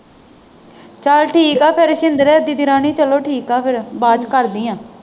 ਚੱਲ ਠੀਕ ਹੈ ਫਿਰ ਸ਼ਿੰਦਰ ਦੀਦੀ ਰਾਣੀ ਚੱਲੋ ਠੀਕ ਆ ਫੇਰ ਬਾਅਦ ਚ ਕਰਦੀ ਹਾਂ।